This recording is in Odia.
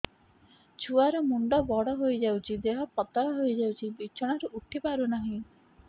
ଛୁଆ ର ମୁଣ୍ଡ ବଡ ହୋଇଯାଉଛି ଦେହ ପତଳା ହୋଇଯାଉଛି ବିଛଣାରୁ ଉଠି ପାରୁନାହିଁ